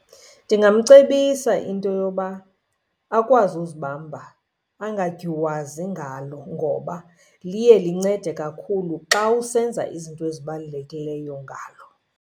Ndingamcebisa into yoba akwazi uzibamba angadyuwazi ngalo, ngoba liye lincede kakhulu xa usenza izinto ezibalulekileyo ngalo.